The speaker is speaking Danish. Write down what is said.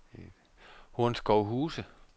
Hornskovshuse